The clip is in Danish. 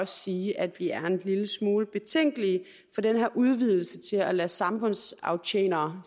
sige at vi er en lille smule betænkelige for den her udvidelse til at lade samfundsaftjenere